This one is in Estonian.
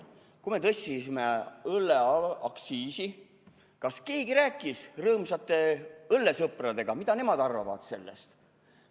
Kui me tõstsime õlleaktsiisi, kas keegi rääkis rõõmsate õllesõpradega, mida nemad arvavad sellest?